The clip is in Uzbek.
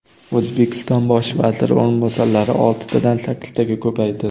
O‘zbekiston bosh vaziri o‘rinbosarlari oltitadan sakkiztaga ko‘paydi.